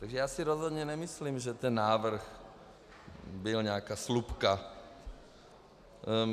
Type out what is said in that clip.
Takže já si rozhodně nemyslím, že ten návrh byl nějaká slupka.